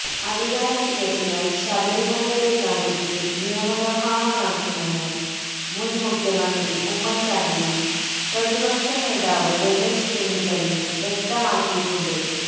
അധികാരത്തിലെത്തിയാൽ ശബരിമലയുടെ കാര്യത്തിൽ നിയമനിർമ്മാണം നടത്തുമെന്ന് മുൻ മുഖ്യമന്ത്രി ഉമ്മൻ ചാണ്ടിയും പ്രതിപക്ഷ നേതാവ് രമേശ് ചെന്നിത്തലയും വ്യക്തമാക്കിയിട്ടുണ്ട്